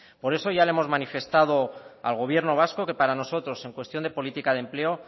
por eso ya le hemos manifestado al gobierno vasco que para nosotros en cuestión de política de empleo